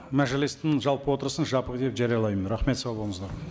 мәжілістің жалпы отырысын жабық деп жариялаймын рахмет сау болыңыздар